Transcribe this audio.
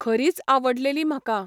खरीच आवडलेली म्हाका.